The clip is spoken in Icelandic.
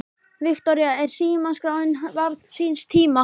Viktoría: Er símaskráin barn síns tíma?